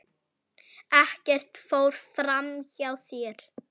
Ekkert fór fram hjá þér.